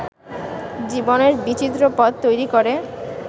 জীবনের বিচিত্র পথ তৈরি করে